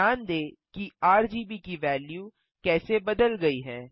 ध्यान दें कि आरजीबी की वेल्यू कैसे बदल गयी है